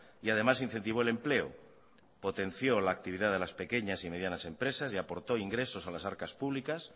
y además incentivo el empleo potenció la actividad de las pequeñas y medianas empresas y aportó ingresos a las arcas públicas